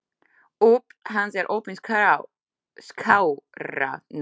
Óp hans er opin skárra nú.